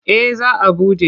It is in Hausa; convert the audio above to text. Eh za a buɗe.